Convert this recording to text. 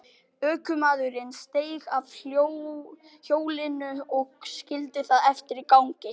Ökumaðurinn steig af hjólinu og skildi það eftir í gangi.